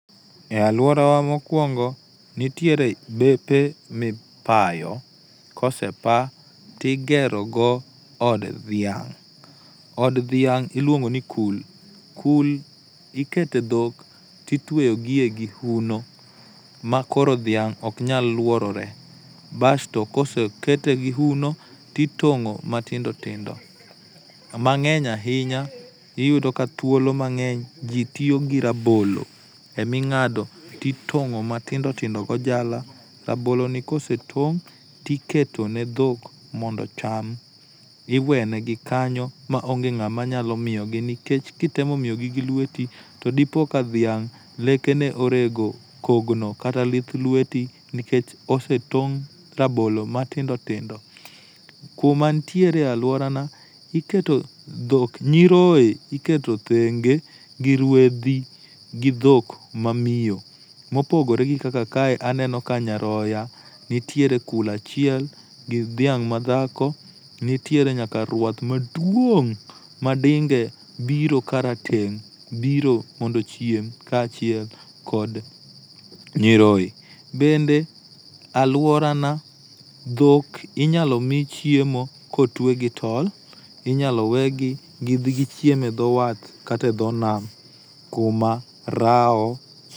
E aluorawa mokuongo nitiere bepe mipayo, kosepa tigero go od dhiang', od dhiang' iluongo ni kul. Kul ikete dhok to itweyogie gi uno. Makoro dhiang' ok nyal luorore. Basto ka osekete gi uno to itong'o matindo tindo. Mang'eny ahinya iyudo ka thuolo mang'eny ji tiyo gi rabolo ema ing'ado to itong'o matindotindo gi ojala. Raboloni ka osetong' to iketo ne dhok mondo ocham, iwenegi kanyo maonge ng'ama nyalo miyogi nikech ka itemo miyogi gi lweti to dipo ka dhiang' lekene orego kogno kata lith lweti nikech osetong' rabolo matindo tindo. Kuma nitiere e aluorana iketo dhok, nyiroye iketo thenge gi ruedhi, gi dhok mamiyo mopogore gi kaka kae aneno ka nyaroya nitiere e kul achiel gi dhiang' madhako nitiere nyaka ruath maduong' madinge biro karateng' biro mondo ochiem kaachiel kod nyiroye. Bende aluorana, dhok inyalo mi chiemo kotwe gi tol, inyalo wegi gidhi gichiem e dho wath kata edho nam kuma rawo